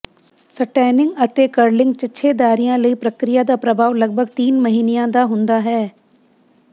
ਸਟੈਨਿੰਗ ਅਤੇ ਕਰਲਿੰਗ ਿਚਛੇਦਾਰੀਆਂ ਲਈ ਪ੍ਰਕਿਰਿਆ ਦਾ ਪ੍ਰਭਾਵ ਲਗਭਗ ਤਿੰਨ ਮਹੀਨਿਆਂ ਦਾ ਹੁੰਦਾ ਹੈ